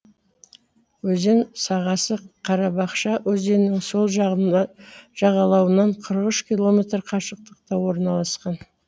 өзен сағасы карабашка өзенінің сол жағалауынан қырық үш километр қашықтықта орналасқан